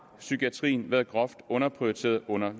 psykiatrien været groft underprioriteret under